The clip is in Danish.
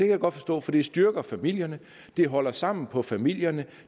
jeg godt forstå for det styrker familierne det holder sammen på familierne